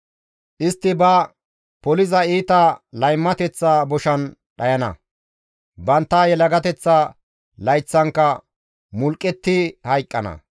Istti ba poliza iita laymateththa boshan dhayana; bantta yelagateththa layththankka mulqqetti hayqqana.